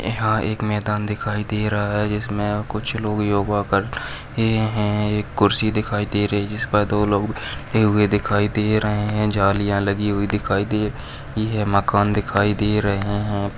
यहा पे एक मैदान दिखाई दे रहा है। जिसमे यहा कुच्छ लोग योगा कर रहे है। एक खुर्ची दिखाई दे रही जिसपर दो लोग खड़े हुए दिखाई दे रहे है जालिया लगी हुई दिखाई दे रही है। मकान दिखाई दे रहे है।